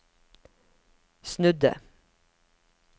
snudde